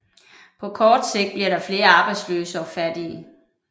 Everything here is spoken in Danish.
På kort sigt bliver der flere arbejdsløse og fattige